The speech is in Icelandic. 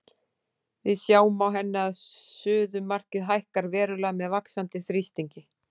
Við sjáum á henni að suðumarkið hækkar verulega með vaxandi þrýstingi.